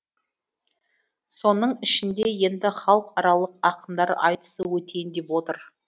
соның ішінде енді халықаралық ақындар айтысы өтейін деп отыр